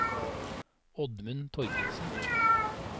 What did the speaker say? Oddmund Torkildsen